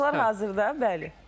Tamaşaçılar hazırda, bəli.